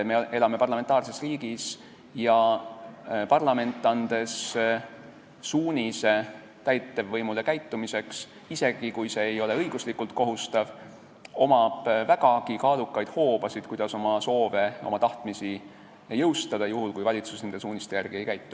Me elame parlamentaarses riigis ja parlamendil, kui ta annab täievvõimule käitumissuunise, isegi kui see ei ole õiguslikult kohustav, on vägagi kaalukaid hoobasid, kuidas oma soove ja tahtmisi jõustada, juhul kui valitsus nende suuniste järgi ei käitu.